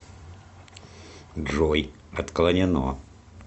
джой отклонено